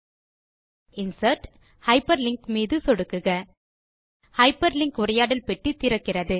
முறையே இன்சர்ட் Hyperlinkமீது சொடுக்குக ஹைப்பர்லிங்க் உரையாடல் பெட்டி திறக்கும்